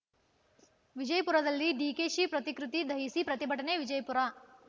ವಿಜಯಪುರದಲ್ಲಿ ಡಿಕೆಶಿ ಪ್ರತಿಕೃತಿ ದಹಿಸಿ ಪ್ರತಿಭಟನೆ ವಿಜಯಪುರ